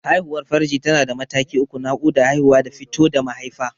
Haihuwar farji tana da mataki uku: Naƙuda, Haihuwa da fito da mahaifa.